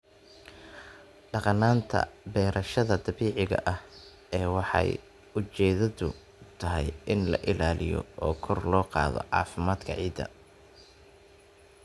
Dhaqannada beerashada dabiiciga ah waxay ujeedadoodu tahay in la ilaaliyo oo kor loo qaado caafimaadka ciidda.